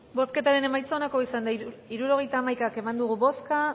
bozketaren emaitza onako izan da hirurogeita hamaika eman dugu bozka